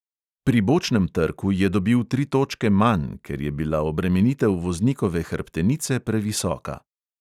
Pri bočnem trku je dobil tri točke manj, ker je bila obremenitev voznikove hrbtenice previsoka.